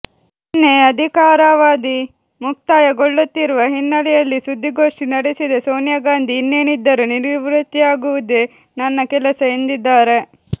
ನಿನ್ನೆ ಅಧಿಕಾರವಾಧಿ ಮುಕ್ತಾಯಗೊಳ್ಳುತ್ತಿರುವ ಹಿನ್ನಲೆಯಲ್ಲಿ ಸುದ್ದಿಗೋಷ್ಠಿ ನಡೆಸಿದ ಸೋನಿಯಾ ಗಾಂಧಿ ಇನ್ನೇನಿದ್ದರೂ ನಿವೃತ್ತಿಯಾಗುವುದೇ ನನ್ನ ಕೆಲಸ ಎಂದಿದ್ದಾರೆ